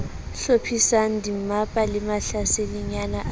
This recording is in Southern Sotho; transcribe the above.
hlophisang dimmapa le mahlasedinyana a